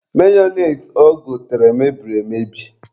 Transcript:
Mayonise o gotere, mebiri emebi.